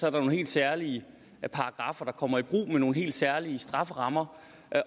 er nogle helt særlige paragraffer der kommer i brug med nogle helt særlige strafferammer